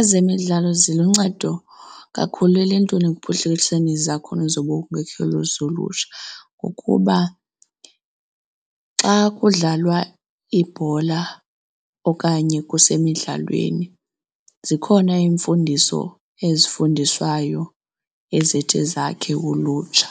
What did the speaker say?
Ezemidlalo ziluncedo kakhulu eluntwini ekuphuhliswe izakhono zobunkokheli zolutsha ngokuba xa kudlalwa ibhola okanye kusemidlalweni, zikhona iimfundiso ezifundiswayo ezithi zakhe ulutsha